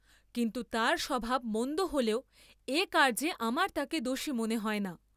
কিন্তু তার স্বভাব মন্দ হলেও এ কার্য্যে আমার তাকে দোষী মনে হয় না।